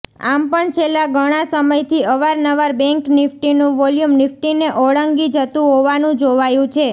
આમ પણ છેલ્લા ગણા સમયથી અવારનવાર બેન્ક નિફ્ટીનું વોલ્યુમ નિફ્ટીને ઓળંગી જતું હોવાનું જોવાયું છે